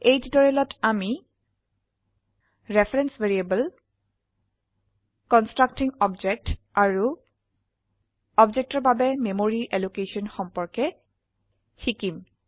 এই টিউটোৰিয়েলত আমি ৰেফাৰেন্স ভ্যাৰিয়েবল কন্সট্ৰকটিং অবজেক্ট আৰু অবজেক্টেৰ বাবে মেমৰি অ্যালোকেশন সম্পৰ্কে শিকিব